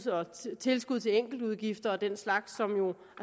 og tilskud til enkeltudgifter og den slags som jo